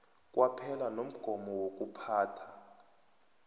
kwaphela nomgomo wokuphatha